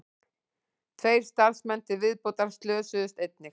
Tveir starfsmenn til viðbótar slösuðust einnig